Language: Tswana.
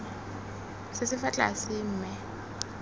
se se fa tlase mme